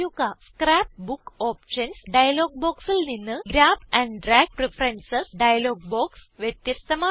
scrap book options dialog ബോക്സിൽ നിന്ന് grab and drag preferences dialog box വ്യത്യസ്ഥമാണ്